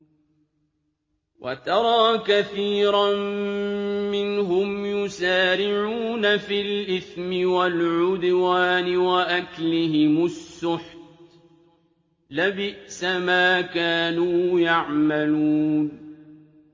وَتَرَىٰ كَثِيرًا مِّنْهُمْ يُسَارِعُونَ فِي الْإِثْمِ وَالْعُدْوَانِ وَأَكْلِهِمُ السُّحْتَ ۚ لَبِئْسَ مَا كَانُوا يَعْمَلُونَ